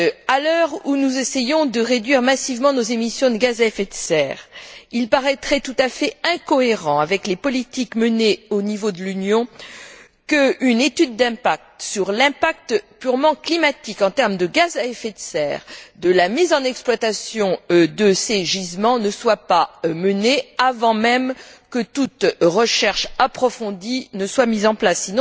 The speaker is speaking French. À l'heure où nous essayons de réduire massivement nos émissions de gaz à effet de serre, il paraîtrait tout à fait incohérent avec les politiques menées au niveau de l'Union, qu'une étude d'impact sur l'impact purement climatique en termes de gaz à effet de serre de la mise en exploitation de ces gisements ne soit pas menée avant même que toute recherche approfondie ne soit mise en place.